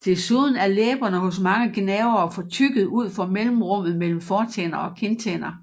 Desuden er læberne hos mange gnavere fortykket ud for mellemrummet mellem fortænder og kindtænder